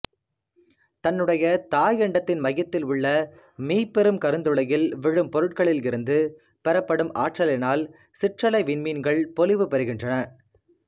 தன்னுடைய தாயண்டத்தின் மையத்திலுள்ள மீப்பெரும் கருந்துளையில் விழும் பொருட்களிலிருந்து பெறப்படும் ஆற்றலினால் சிற்றலை விண்மீன்கள் பொலிவு பெறுகின்றன